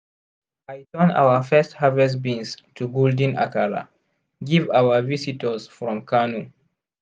i turn our first harvest beans to golden akara give our visitors from kano.